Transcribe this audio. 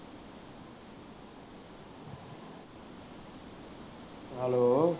Hello